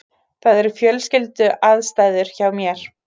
Það eru fjölskylduaðstæður hjá mér.